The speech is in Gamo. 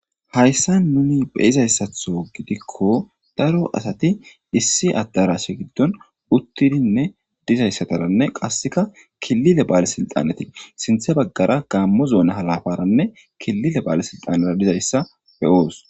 hayssa nuni be izayssatho gidikko daro asati issi addarash giddon uttidinne dizayssataranne qasseka killile ba7ale silxaneti sinthe baggara gaammo zoona halafaranne killile ba7ale silxanera dizayssa beyoos